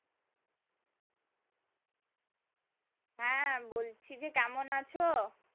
হ্যাঁ বলছি যে কেমন আছো?